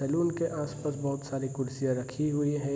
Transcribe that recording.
Salon के आस-पास बहुत सारी कुर्सियां रखी हुई है।